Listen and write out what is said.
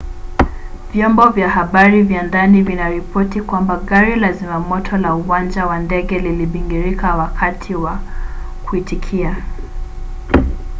vyombo vya habari vya ndani vinaripoti kwamba gari la zimamoto la uwanja wa ndege lilibingirika wakati wa kuitikia